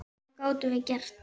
Hvað gátum við gert?